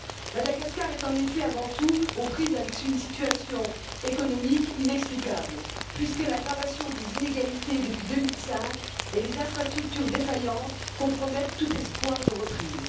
Madagascar est en effet, avant tout, aux prises avec une situation économique inextricable, puisque l'aggravation des inégalités depuis 2005 et les infrastructures défaillantes compromettent tout espoir de reprise.